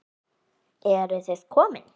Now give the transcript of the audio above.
Eruð þið komin!